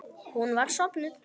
Hún var sofnuð.